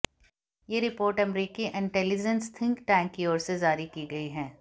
ये रिपोर्ट अमेरिकी intelligence think tank की ओर से जारी की गई है